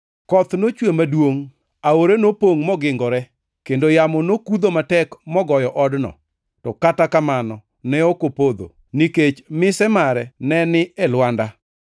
Koth nochwe maduongʼ, aore nopongʼ mogingore, kendo yamo nokudho matek mogoyo odno; to kata kamano ne ok opodho, nikech mise mare ne ni e lwanda.